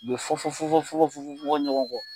U bɛ fɔn fɔn fɔn fɔn fɔn fɔn ɲɔgɔn kɔ